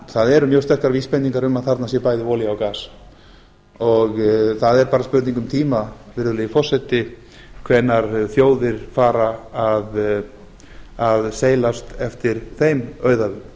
það eru mjög sterkar vísbendingar um að þarna sé bæði olía og gas og það er bara spurning um tíma virðulegi forseti hvenær þjóðir fara að seilast eftir þeim auðæfum